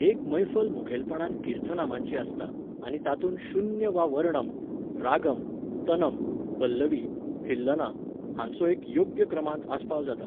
एक मैफल मुखेलपणान कीर्थनामांची आसता, आनी तातूंत शून्य वा वर्णम, रागम, तनम, पल्लवी, थिल्लना हांचो एक योग्य क्रमांत आस्पाव जाता.